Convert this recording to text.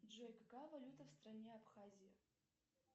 джой какая валюта в стране абхазия